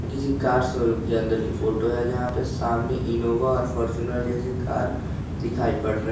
किसी car showroom के अंदर की फोटो है जहां पर सामने इनोवा और फॉर्च्यूनर जैसे कार दिखाई पड़ रहे है।